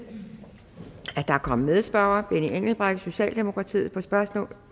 at der er kommet medspørger benny engelbrecht socialdemokratiet på spørgsmål